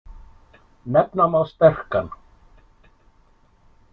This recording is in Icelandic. Nefna má sterkan.